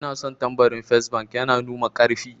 Ina son tambarin fes bank, yana numa karfi